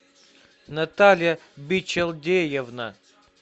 наталья бичелдеевна